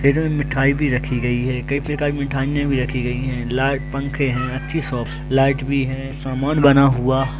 इसमें मिठाई भी रखीं गई है कई प्रकार की मिठाइयां भी रखीं गई है लाइट पंखे है अच्छी शॉप लाइट भी है सामान बना हुआ।